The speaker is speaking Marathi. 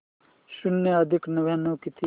शून्य अधिक नव्याण्णव किती